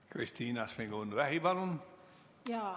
Kristina Šmigun-Vähi, palun!